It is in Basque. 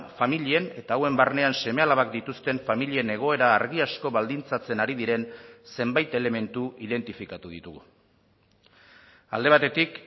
familien eta hauen barnean seme alabak dituzten familien egoera argi asko baldintzatzen ari diren zenbait elementu identifikatu ditugu alde batetik